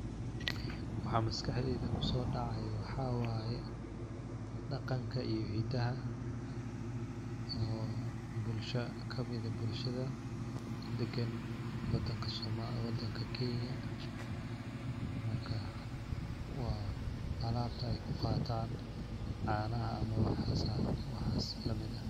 Waxa maskax deyda kusocacayo waxa waye, daqanka iyo hidaha oo bulsha kamid eh bulshada degen wadanka kenya, marka waa alabtay kuqatan canaha iyo waxas lamid ah.